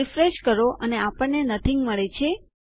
refresh કરો અને આપણને નથીંગ મળે છે